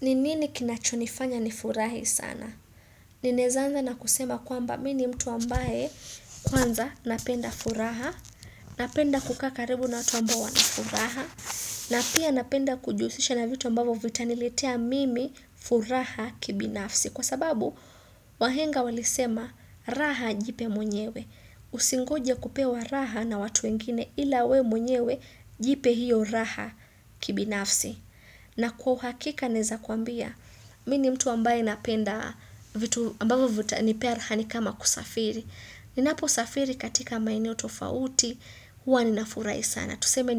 Ninini kinachonifanya ni furahi sana? Ninaezanza na kusema kwamba mini mtu ambaye kwanza napenda furaha, napenda kukaa karibu na watu ambao wana furaha, na pia napenda kujihusisha na vitu ambavo vita niletea mimi furaha kibinafsi. Kwa sababu, wahenga walisema raha jipe mwenyewe. Usingoje kupewa raha na watu wengine ila we mwenyewe jipe hiyo raha kibinafsi. Na kwa uhakika naeza kuambia, mini mtu ambaye napenda vitu ambavyo vitanipea rahani kama kusafiri. Ninapo safiri katika maeneo tofauti, huwa ninafurahi sana. Tuseme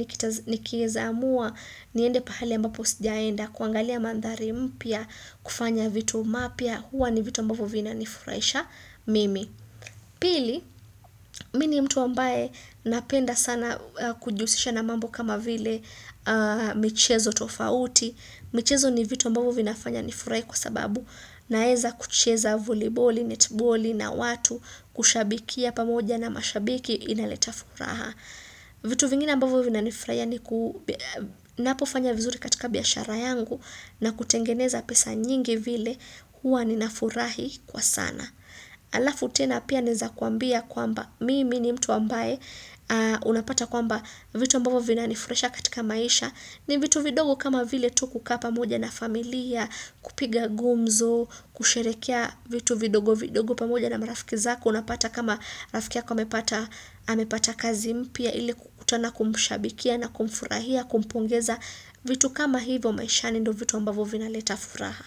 nikieza amua, niende pahali ambapo sijaenda, kuangalia mandhari mpya, kufanya vitu mapya, huwa ni vitu ambavo vina nifurahisha mimi. Pili, mini mtu ambaye napenda sana kujihusisha na mambo kama vile michezo tofauti, michezo ni vitu ambavo vinafanya nifurahi kwa sababu naeza kucheza voliboli, netiboli na watu kushabikia pamoja na mashabiki inaleta furaha. Vitu vingine ambavo vina nifuraia ni napofanya vizuri katika biashara yangu na kutengeneza pesa nyingi vile hua ninafurahi kwa sana. Alafu tena pia neza kuambia kwamba mimi ni mtu ambaye unapata kwamba vitu ambavo vina nifurahisha katika maisha ni vitu vidogo kama vile tu ku kaapa moja na familia kupiga gumzo, kusherekea vitu vidogo vidogo pamoja na marafiki zako unapata kama rafiki yako amepata kazi mpya ili kukutana kumshabikia na kumfurahia, kumpongeza vitu kama hivo maisha ni ndo vitu ambavyo vina letafuraha.